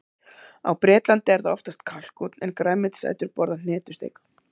Á Bretlandi er það oftast kalkúnn, en grænmetisætur borða hnetusteik.